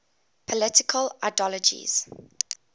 political ideologies